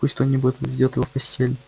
пусть кто-нибудь отведёт его в постель